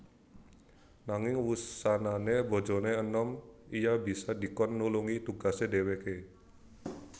Nanging wusanané bojoné enom iya bisa dikon nulungi tugasé dhèwèké